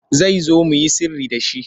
Zai zo mu yi sirri da shi.